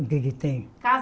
O que é que tem?